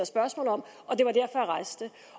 spørgsmål om